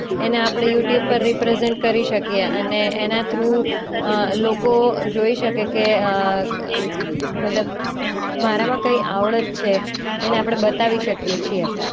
એને આપણે યૂટ્યૂબ પર રીપ્રેઝન્ટ કરી શકીએ અને એના થ્રુ અ લોકો જોઈ શકે કે અ મતલબ મારામાં કઈ આવડત છે એને આપણે બતાવી શકીએ છીએ.